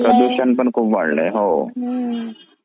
प्रदूषण पण वाढलायहो